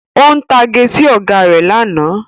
Ó ń tage sí Ọ̀gá rẹ̀ lánàá